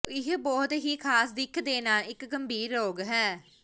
ਇਹ ਬਹੁਤ ਹੀ ਖਾਸ ਦਿੱਖ ਦੇ ਨਾਲ ਇੱਕ ਗੰਭੀਰ ਰੋਗ ਹੈ